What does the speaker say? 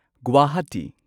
Guwahati